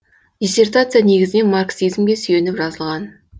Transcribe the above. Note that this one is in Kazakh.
диссертация негізінен марксизмге сүйеніп жазылған